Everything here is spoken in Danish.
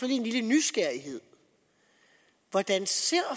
en lille nysgerrighed hvordan ser